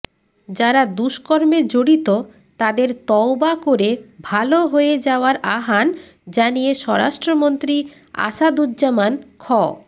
যারা দুষ্কর্মে জড়িত তাদের তওবা করে ভালো হয়ে যাওয়ার আহ্বান জানিয়ে স্বরাষ্ট্রমন্ত্রী আসাদুজ্জামান খ